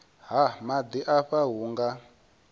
ha maḓi afha hu nga